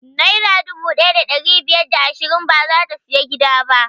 Naira dubu ɗaya da ɗari biyar da ashirin bazata siyan gida ba